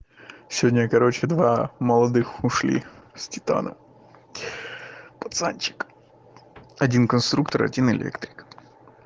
сегодня короче два молодых ушли с титана пацанчик один конструктор один электрик